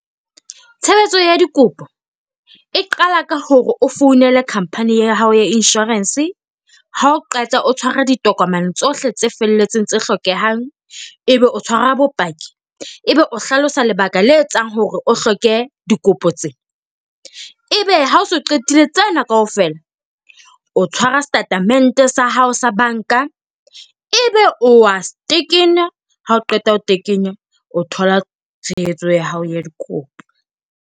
Tshebetso ya dikopo e qala ka hore o founele company ya hao ya insurance. Ha o qeta o tshware ditokomane tsohle tse felletseng tse hlokehang, ebe o tshwara bopaki. Ebe o hlalosa lebaka le etsang hore o hloke dikopo tsena. Ebe ha o so qetile tsena kaofela, o tshwara setatementeng sa hao sa banka. Ebe o wa tekenya. Ha o qeta ho tekena, o thola tshehetso ya hao ya dikopo